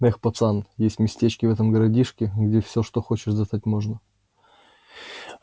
эх пацан есть местечки в этом гадюшнике где всё что хочешь достать можно